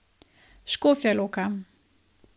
Škofja Loka.